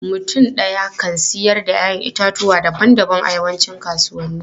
Mutum ɗaya kan siyar da 'ya'yan itatuwa daban-daban a yawancin kasuwanni.